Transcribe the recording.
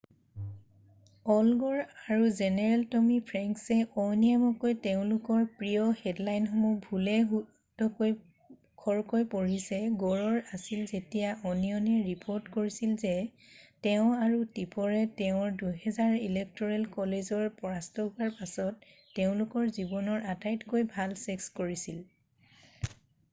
all Gore আৰু general Tommy ফ্ৰেংকছে অনিয়মীয়াকৈ তেওঁলোকৰ প্ৰিয় হেডলাইনসমূহ ভুলে-শুদ্ধই খৰকৈ পঢ়িছে গৌৰৰ আছিল যেতিয়া অনিয়নে ৰিপৰ্ট কৰিছিল যে তেওঁ আৰু টিপৰে তেওঁৰ 2000 ৰ ইলেক্ট'ৰেল ক'লেজৰ পৰাস্ত হোৱাৰ পাছত তেওঁলোকৰ জীৱনৰ আটাইতকৈ ভাল ছেক্স কৰিছিল৷